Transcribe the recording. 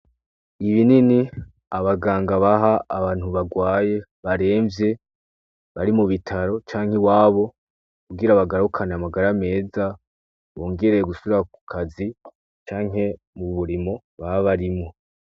Ibinini, abaganga baha abantu barwaye , baremvye bari mubitaro canke iwabo kugira bagarukane amagara meza , bongere gusubira kukazi canke mumurimo boba barimwo .